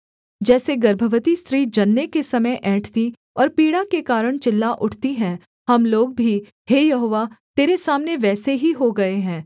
जैसे गर्भवती स्त्री जनने के समय ऐंठती और पीड़ा के कारण चिल्ला उठती है हम लोग भी हे यहोवा तेरे सामने वैसे ही हो गए हैं